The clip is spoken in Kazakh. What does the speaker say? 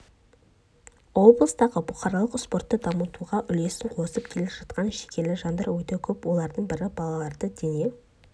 облыстағы бұқаралық спортты дамытуға үлесін қосып келе жатқан жігерлі жандар өте көп олардың бірі балаларды дене